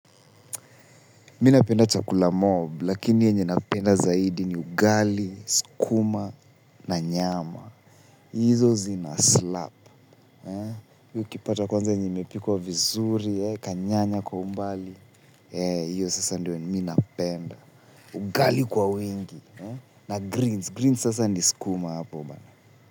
Mimi napenda chakula mob, lakini yenye napenda zaidi ni ugali, skuma na nyama. Hizo zinaslap. Hii ukipata kwanza yenye imepikwa vizuri, kanyanya kwa umbali. Hiyo sasa ndiyo mi napenda. Ugali kwa wingi. Na greens. Greens sasa ni skuma hapo.